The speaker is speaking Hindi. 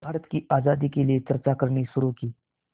भारत की आज़ादी के लिए चर्चा करनी शुरू की